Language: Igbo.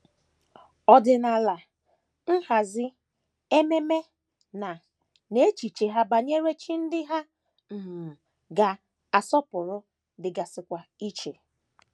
Ọdịnala, nhazi, ememe, na, na echiche ha banyere chi ndị ha um ga - asọpụrụ dịgasịkwa iche.